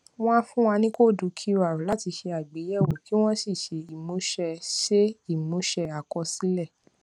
wón á fún wa ní kóódù qr láti ṣe àgbéyèwò kí wón sì ṣe ìmúṣẹ ṣe ìmúṣẹ àkọsílẹ